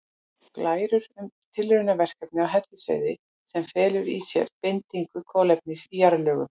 Glærur um tilraunaverkefni á Hellisheiði sem felur í sér bindingu kolefnis í jarðlögum.